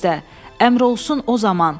Əmr olsun o zaman.